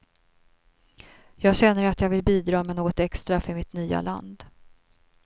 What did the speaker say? Jag känner att jag vill bidra med något extra för mitt nya land.